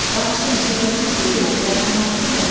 Bağışlayın, söhbətinizi bölürəm, dərmanlarınızın vaxtıdır.